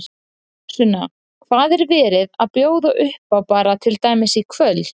Sunna, hvað er verið að bjóða upp á bara til dæmis í kvöld?